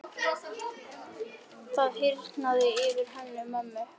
Það hýrnaði yfir Hönnu-Mömmu og hún sagði sakleysislega: